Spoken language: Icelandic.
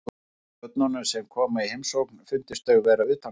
Eins getur börnunum sem koma í heimsókn fundist þau vera utangátta.